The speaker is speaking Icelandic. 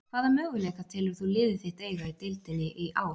Hvaða möguleika telur þú liðið þitt eiga í deildinni í ár?